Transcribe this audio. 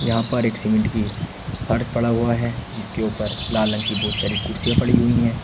यहां पर एक सीमेंट की फर्श पड़ा हुआ है जिसके ऊपर लाल रंग की बहुत सारी कुर्सियां पड़ी हुई हैं।